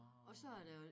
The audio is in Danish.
Og så er der jo